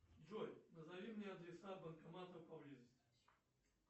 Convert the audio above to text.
джой назови мне адреса банкоматов поблизости